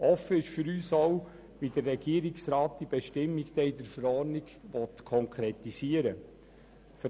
Offen ist für uns auch, wie der Regierungsrat die Bestimmung dann in der Verordnung konkretisieren will.